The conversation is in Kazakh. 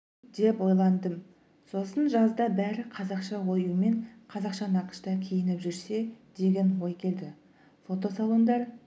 деп ойландым сосын жазда бәрі қазақша оюмен қазақы нақышта киініп жүрсе деген ой келді фотосалондар